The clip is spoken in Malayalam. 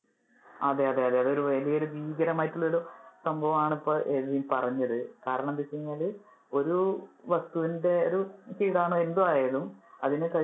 അതെ അതെ അതെ അത് ഒരു വലിയൊരു ഭീകരം ആയിട്ടുള്ള സംഭവം ആണ് ഇപ്പൊ എബിൻ പറഞ്ഞത്. കാരണം എന്താണെന്നു വെച്ച് കഴിഞ്ഞാല്. ഒരു വസ്തുവിന്‍ടെ അത് ഒരു കീടാണു എന്തായാലും അതിനെ കഴിക്ക~